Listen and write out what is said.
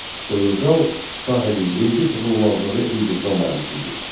Soyurqal sahibi vergi toxunulmazlığı hüquqına malik idi.